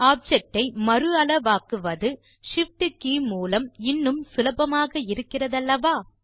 object இ மறு அளவாக்குவது Shift கே மூலம் இன்னும் சுலபமாக இருக்கிறதல்லவா